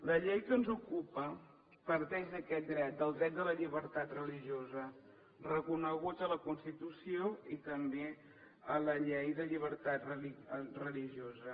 la llei que ens ocupa parteix d’aquest dret del dret a la llibertat religiosa reconegut a la constitució i també a la llei de llibertat religiosa